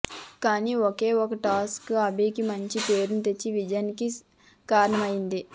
కానీ ఒకే ఒక టాస్క్ అభికి మంచి పేరు తెచ్చి విజయానికి కారణమైంది